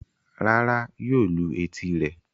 Rárá yóò lu etí rẹ̀.